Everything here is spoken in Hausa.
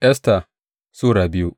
Esta Sura biyu